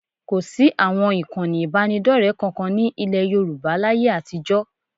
Kò sí àwọn ìkànnì ìbánidọ́rẹ kankan ní ilẹ̀ Yorùbá láyé àtijọ́